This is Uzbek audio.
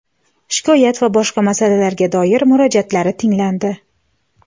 shikoyat va boshqa masalalarga doir murojaatlari tinglandi.